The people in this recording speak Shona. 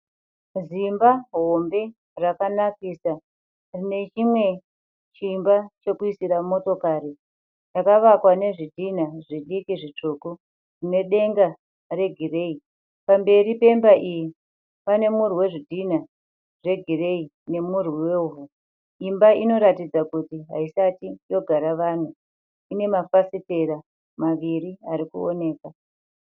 Zimba hombe rakanakisa rine chimwe chimba chekuisira motokari chakavakwa nezvidhinha zvidiki zvitsvuku nedenga regireyi. Pamberi pemba iyi pane murwi wedhinha zvegireyi nemurwi wevhu. Imba inoratidza kuti haisati yogara vanhu. Ine mafafitera maviri ari kuoneka.